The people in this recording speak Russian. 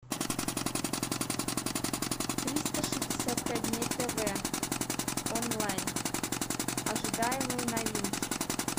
триста шестьдесят пять дней тв онлайн ожидаемые новинки